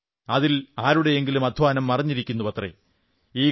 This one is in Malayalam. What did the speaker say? കാരണം അതിൽ ആരുടെയെങ്കിലും അധ്വാനം മറഞ്ഞിരിക്കുന്നുവത്രേ